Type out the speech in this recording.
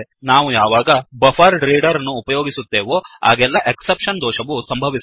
ನಾವು ಯಾವಾಗ buffered reader buffered reader ಅನ್ನು ಉಪಯೋಗಿಸುತ್ತೇವೋ ಆಗೆಲ್ಲ ಎಕ್ಸೆಪ್ಷನ್ ದೋಷವು ಸಂಭವಿಸುತ್ತದೆ